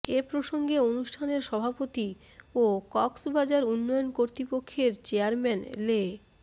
এ প্রসঙ্গে অনুষ্ঠানের সভাপতি ও কক্সবাজার উন্নয়ন কর্তৃপক্ষের চেয়ারম্যান লে